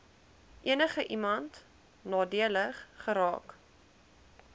enigiemand nadelig geraak